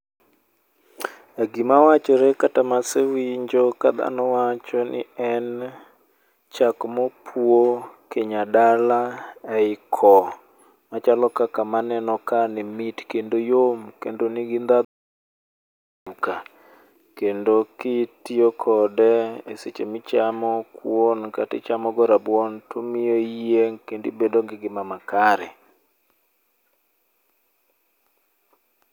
Gima wachore kata masewinjo ka dhano wacho ni en chak mopuo kinya dala ei ko machalo kaka maneno kae ni mit kendo yom kendo nigi ndhadhu kendo kitiyo kode eseche ma ichamo kuon kata ichamogo rabuon to omiyo iyieng' kendo ibedo gi ngima makare.